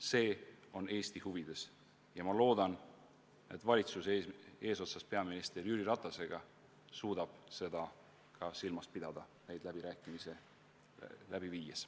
See on Eesti huvides ja ma loodan, et valitsus eesotsas peaminister Jüri Ratasega suudab neid läbirääkimisi läbi viies seda silmas pidada.